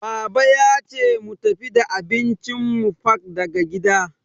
Baba yace mu tafi da abincin mu fak daga gida.